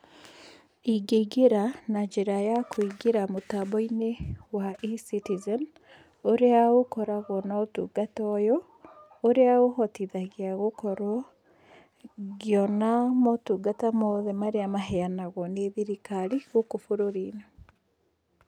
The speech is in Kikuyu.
Ingĩingĩra na njĩra ya kũingĩra mĩtambo-inĩ ya eCitizen, ũrĩa ũkoragwo na ũtungata ũyũ, ũrĩa ũhotithagia gũkorwo ngĩona motungata mothe marĩa maheanagwo nĩ thirikari gũkũ bũrũri-inĩ.